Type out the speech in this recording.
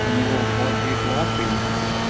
у него холодеют лапы и